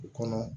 U kɔnɔ